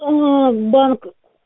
банк